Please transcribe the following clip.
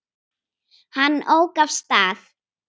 Hann ók af stað.